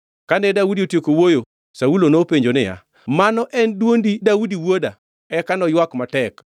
Kane Daudi otieko wuoyo, Saulo nopenjo niya, “Mano en dwondi Daudi wuoda?” Eka noywak matek.